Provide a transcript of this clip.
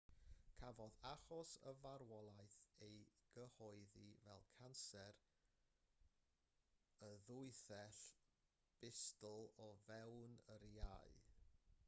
cafodd achos y farwolaeth ei gyhoeddi fel canser y ddwythell bustl o fewn yr iau